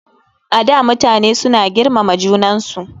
Before people were so respectful of one another.